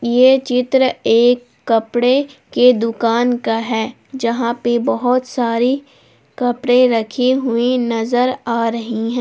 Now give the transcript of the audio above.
यह चित्र एक कपड़े के दुकान का है जहां पर बहुत सारी कपड़े रखे हुई नजर आ रही है।